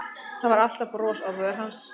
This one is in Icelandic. Það var alltaf bros á vör hans.